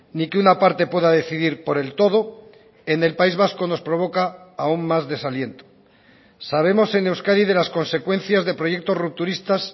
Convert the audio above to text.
ni que una parte pueda decidir por el todo en el país vasco nos provoca aún más desaliento sabemos en euskadi de las consecuencias de proyectos rupturistas